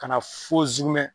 Ka na fɔ zukumɛ.